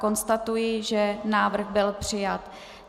Konstatuji, že návrh byl přijat.